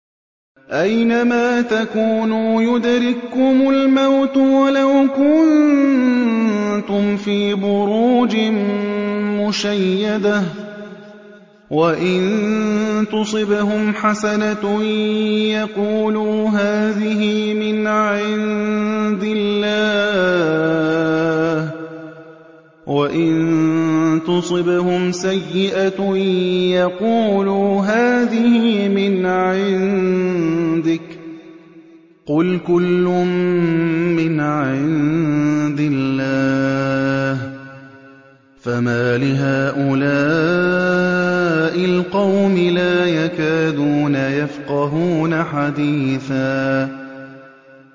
أَيْنَمَا تَكُونُوا يُدْرِككُّمُ الْمَوْتُ وَلَوْ كُنتُمْ فِي بُرُوجٍ مُّشَيَّدَةٍ ۗ وَإِن تُصِبْهُمْ حَسَنَةٌ يَقُولُوا هَٰذِهِ مِنْ عِندِ اللَّهِ ۖ وَإِن تُصِبْهُمْ سَيِّئَةٌ يَقُولُوا هَٰذِهِ مِنْ عِندِكَ ۚ قُلْ كُلٌّ مِّنْ عِندِ اللَّهِ ۖ فَمَالِ هَٰؤُلَاءِ الْقَوْمِ لَا يَكَادُونَ يَفْقَهُونَ حَدِيثًا